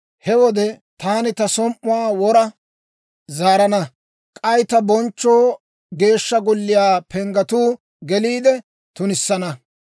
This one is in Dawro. He wode taani ta som"uwaa wora zaarana; k'ay ta bonchcho Geeshsha Golliyaa panggatuu geliide tunissana.